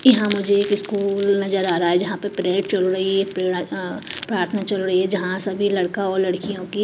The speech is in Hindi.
यहां मुझे एक स्कूल नजर आ रहा है जहां पर परेड चल रही है अ प्रार्थना चल रही है जहां सभी लड़का और लड़कियों की--